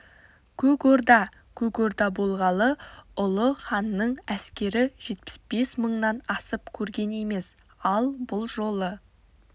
көк орда көк орда болғалы ұлы ханның әскері жетпіс бес мыңнан асып көрген емес ал бұл жолы